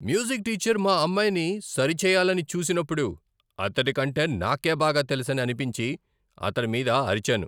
Music teacher మా అమ్మాయిని సరిచేయాలని చూసినప్పుడు అతడి కంటే నాకే బాగా తెలుసని అనిపించి, అతడి మీద అరిచాను.